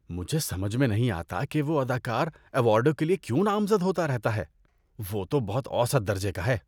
مجھے سمجھ میں نہیں آتا کہ وہ اداکار ایوارڈوں کے لیے کیوں نامزد ہوتا رہتا ہے۔ وہ تو بہت اوسط درجے کا ہے۔